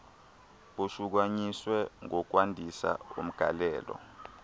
bushukunyiswe ngokwandisa umgalelo